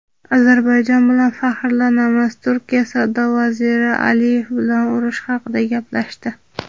Ozarbayjon bilan faxrlanamiz – Turkiya Savdo vaziri Aliyev bilan urush haqida gaplashdi.